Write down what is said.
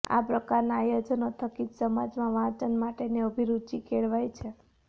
આ પ્રકારના આયોજનો થકી જ સમાજમાં વાંચન માટેની અભિરૂચી કેળવાય છે